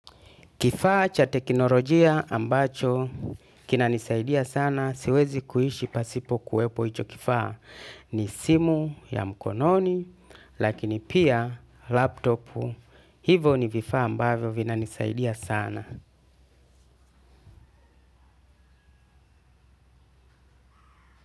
Kifaa cha teknolojia ambacho kinanisaidia sana siwezi kuishi pasipo kuwepo hicho kifaa ni simu ya mkononi lakini pia laptopu hivo ni vifaa ambavyo vinanisaidia sana.